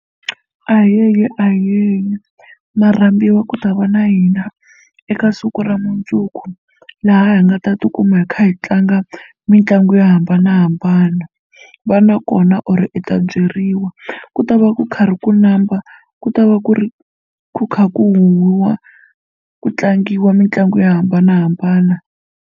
Ayeye ayeye ma rhambiwa ku ta va na hina eka siku ra mundzuku laha hi nga ta tikuma hi kha hi tlanga mitlangu yo hambanahambana va na kona or i ta byeriwa ku ta va ku karhi ku numba ku ta va ku ri kha ku huwiwa ku tlangiwa mitlangu yo hambanahambana.